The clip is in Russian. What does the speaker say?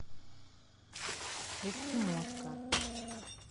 эскимоска